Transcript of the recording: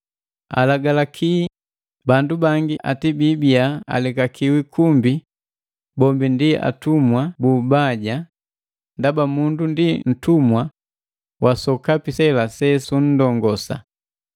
Alagalaki bandu bangi ati biibiya alekakiwi kumbi bombi ndi atumwa bu ubaja ndaba mundu ndi ntumwa wa sokapi sela se sunndongosa.